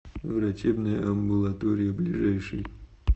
врачебная амбулатория ближайший